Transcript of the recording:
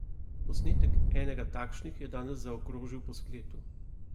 Posnetek enega takšnih je danes zaokrožil po spletu.